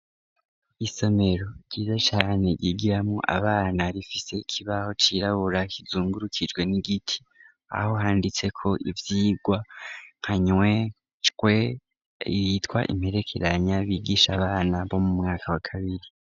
Isomero ryiza cane gigiramwo abana rifise ikibaho cirabura kizungurukijwe n'igiti aho handitse ko ivyirwa kanywe cwe yitwa imperekeranya bigisha abana bo mu mwaka wa kabiri.